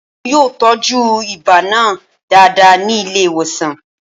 Wọn yóò tọ́jú ibà náà dáadáa ní ilé ìwòsàn